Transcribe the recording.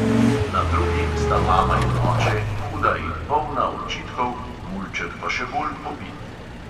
Na drugi sta mama in oče, huda in polna očitkov, mulček pa še bolj pobit.